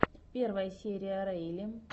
первая серия рэйли